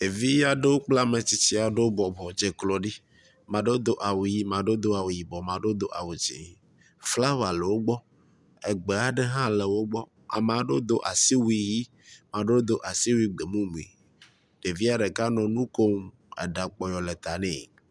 Ɖevi aɖewo kple ame tsitsi aɖewo bɔbɔ dze klo ɖi. ame aɖewo do awu ʋi, ame aɖewo do awu yibɔ, ame aɖewo do awu dzi. Flawa le wo gbɔ, egbe aɖe hã le wo gbɔ. Ame aɖewo do asiwui ʋi, ame aɖewo do asiwui gbemumu. Ɖevia ɖeka nɔ nu kom eɖa kpɔyɔ le ta nɛ.